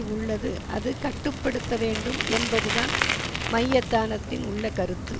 உள்ளது அது கட்டு படுத்த வேண்டும் என்பதுதான் மையத்தானத்தில் உள்ள கருத்து